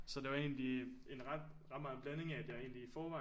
Så det var egentlig en ret ret meget en blanding af at jeg i forvejen